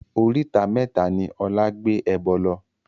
Oríta mẹ́ta ni Ọlá gbé ẹbọ lọ